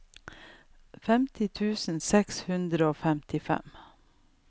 femtini tusen seks hundre og femtifem